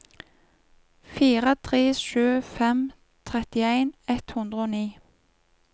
fire tre sju fem trettien ett hundre og ni